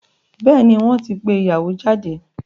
Bẹ́ẹ̀ni, wọ́n ti pé ìyàwó jáde.